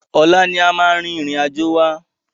Ọ̀la ni a máa rin ìrìn àjò wa.